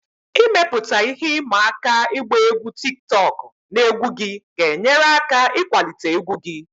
Ịmepụta ihe ịma aka ịgba egwu tiktokụ na egwu gị ga-enyere aka ịkwalite egwu gị